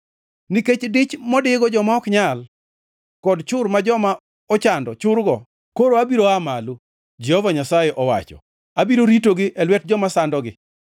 “Nikech dich modigo joma ok nyal kod chur ma joma ochando churgo, koro abiro aa malo,” Jehova Nyasaye owacho. “Abiro ritogi e lwet joma sandogi.”